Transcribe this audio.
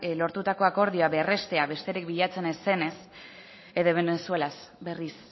lortutako akordioa berrestea besterik bilatzen ez zenez ere venezuelaz berriz